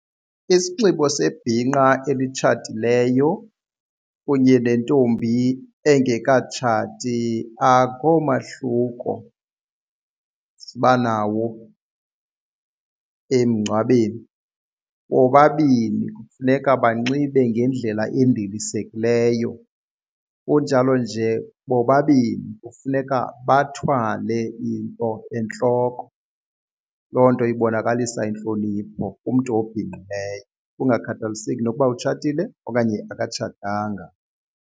Isinxibo sebhinqa elitshatileyo kunye nentombi engekatshati akho mahluko siba nawo emngcwabeni bobabini funeka banxibe ngendlela endilisekileyo kunjalo nje bobabini kufuneka bathwale into entloko. Loo nto ibonakalisa intlonipho kumntu obhinqileyo kungakhathaliseki nokuba utshatile okanye akatshatanga.